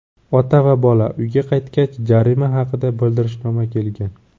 Ota va bola uyga qaytgach, jarima haqida bildirishnoma kelgan.